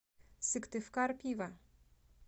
сыктывкарпиво